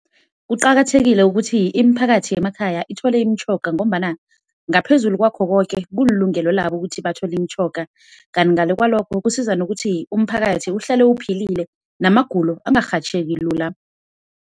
Kuqakathekile ukuthi imiphakathi yemakhaya ithole imitjhoga ngombana ngaphezulu kwakho koke kulilungelo labo ukuthi bathole imitjhoga. Kanti ngale kwalokho kusiza nokuthi umphakathi uhlale uphilile namagulo angarhatjheki lula.